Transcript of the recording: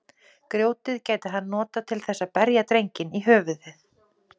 Grjótið gæti hann notað til þess að berja drenginn í höfuðið.